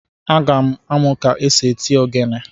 Aga amụ ka-esi eti ogene